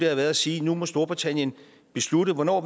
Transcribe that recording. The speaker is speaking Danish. har været at sige at nu må storbritannien beslutte hvornår